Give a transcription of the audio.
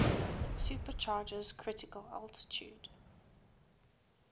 supercharger's critical altitude